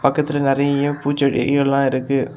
பக்கத்தில நிறைய பூச்செடிகள் எல்லாம் இருக்கு.